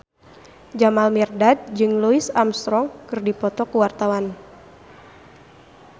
Jamal Mirdad jeung Louis Armstrong keur dipoto ku wartawan